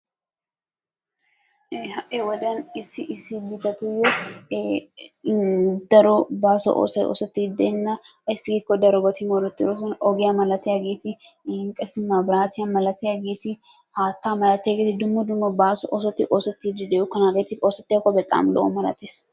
ha'i wodiyaan issi issi biittatuyyo daro baaso oosoy oosettidi deena ayssi giiko darobati moorettidoosona. ogiyaa malatiyaageeti, iin qassi mabraatiyaa malatiyaageeti, haattaa malaatiyageeeti dumma dumma baaso oosoti oosettidi dookkona, hageeti oosettiyakko bexaami lo''o malaatees.